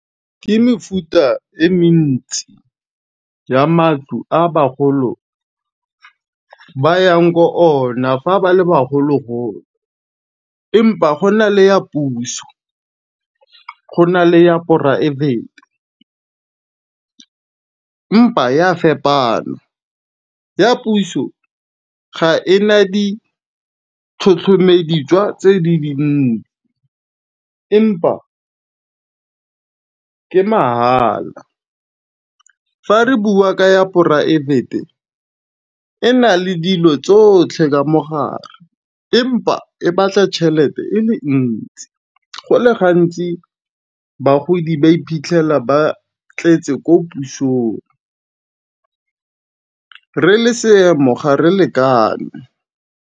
Ke mefuta e mentsi ya matlo a bagolo ba yang ko ona fa ba le bagolo-golo. Empa gona le ya puso, go na le ya poraefete empa ya fepana, ya puso ga ena ditlhotlhomeditswa tse di di dinnye, empa ke mahala fa re bua ka ya poraefete e na le dilo tsotlhe ka mogare empa e batla tšhelete e ntsi, go le gantsi bagodi ba iphitlhela ba tletse ko pusong, re le seemo ga re lekane.